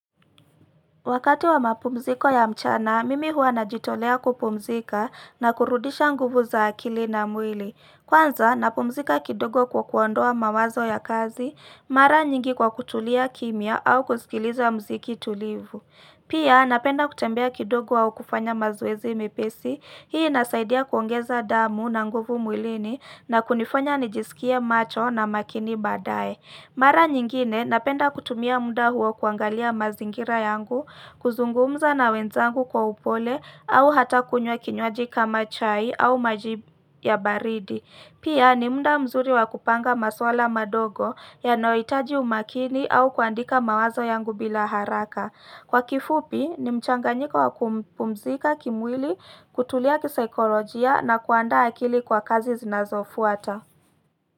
Wakati wa mapumziko ya mchana, mimi huwa najitolea kupumzika na kurudisha nguvu za akili na mwili. Kwanza, napumzika kidogo kwa kuondoa mawazo ya kazi, mara nyingi kwa kutulia kimya au kusikiliza muziki tulivu. Pia, napenda kutembea kidogo au kufanya mazoezi mepesi, hii inasaidia kuongeza damu na nguvu mwilini na kunifanya nijisikie macho na makini baadaye. Mara nyingine napenda kutumia muda huo kuangalia mazingira yangu, kuzungumza na wenzangu kwa upole au hata kunywa kinywaji kama chai au maji ya baridi. Pia ni muda mzuri wa kupanga maswala madogo yanayohitaji umakini au kuandika mawazo yangu bila haraka. Kwa kifupi ni mchanganyiko wa kupumzika kimwili kutulia kisikolojia na kuandaa akili kwa kazi zinazofuata.